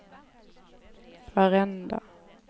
varenda